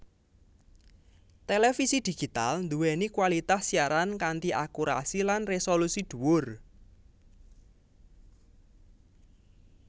Télévisi Digital duwéni kualitas siaran kanthi akurasi lan resolusi duwur